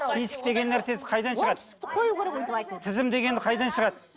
список деген нәрсесі қайдан шығады оңтүстікті қою керек өйтіп айтуды тізім деген қайдан шығады